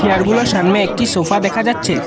যারগুলার সামনে একটি সোফা দেখা যাচ্ছে।